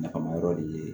Nafama yɔrɔ de ye